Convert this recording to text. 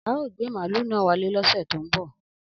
Ao gbe malu na wale ni ose to n bo.